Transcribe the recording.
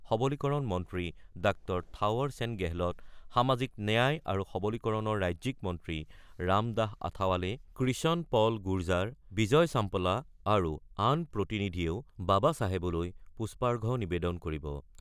সামাজিক ন্যায় আৰু সবলীকৰণ মন্ত্ৰী ড থাৱৰ সেন গেহলট, সামাজিক ন্যায় আৰু সবলীকৰণৰ ৰাজ্যিক মন্ত্ৰী ৰামদাস আথাৱালে, কৃষণ পল গুৰজাৰ, বিজয় ছাম্পলা আৰু আন প্ৰতিনিধিয়েও বাবা চাহেবলৈ পুষ্পাৰ্ঘ্য নিবেদন কৰিব।